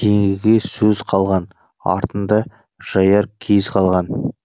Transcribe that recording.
кейінгіге сөз қалған артында жаяр кез қалған